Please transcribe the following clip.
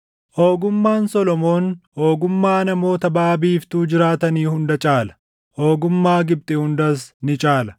Ogummaan Solomoon ogummaa namoota baʼa biiftuu jiraatanii hunda caala; ogummaa Gibxi hundas ni caala.